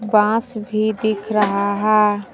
बांस भी दिख रहा है।